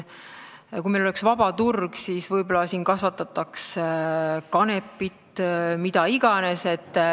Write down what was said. Kui meil oleks vaba turg, siis võib-olla siin kasvatataks kanepit või mida iganes.